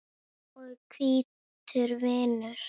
og hvítur vinnur.